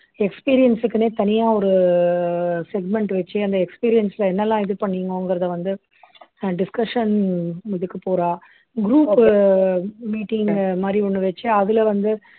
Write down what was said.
experience க்குன்னே தனியா ஒரு segment வச்சு அந்த experience ல என்னெல்லாம் இது பண்ணீங்கோங்கிறதை வந்து அஹ் discussion இதுக்கு போறா group உ meeting மாதிரி ஒண்ணு வச்சு அதுல வந்து